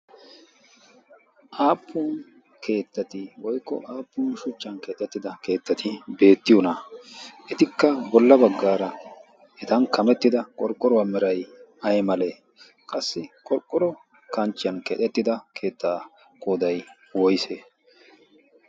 aappun keettati woykko aappun shuchchan keexettida keettati beettiyoonaaa etikka bolla baggaara etan kamettida qorqqorwaa meray ay malee qassi qorqqoro kanchchiyan keexettida keettaa koodai woyse